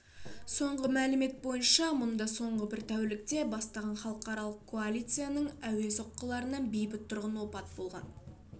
соңғы мәлімет бойынша мұнда соңғы бір тәулікте бастаған халықаралық коалицияның әуе соққыларынан бейбіт тұрғын опат болған